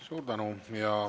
Suur tänu!